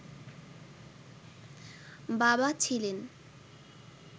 বাবা ছিলেন